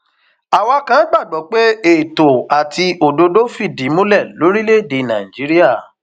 àwa kan gbàgbọ pé ètò àti òdodo fìdí múlẹ lórílẹèdè nàíjíríà